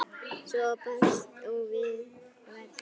Svar barst og verð fannst.